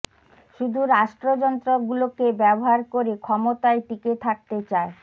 শুধু রাষ্ট্রযন্ত্র গুলোকে ব্যবহার করে ক্ষমতায় টিকে থাকতে চায়